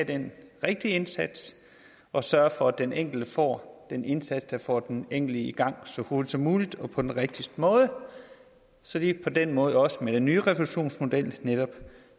den rigtige indsats og sørge for at den enkelte får den indsats der får den enkelte i gang så hurtigt som muligt og på den rigtigste måde så de på den måde også med den nye refusionsmodel netop